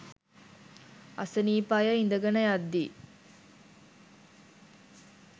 අසනීප අය ඉඳගන යද්දී